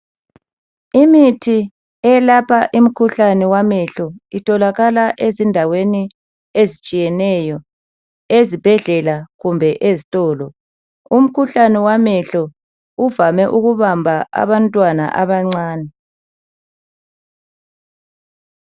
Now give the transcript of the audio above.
Imithi eyelapha imikhuhlane wamehlo itholakala ezindaweni ezitshiyeneyo ezibhedlela kumbe ezitolo umkhuhlane wamehlo uvame ukubamba abantwana abancane.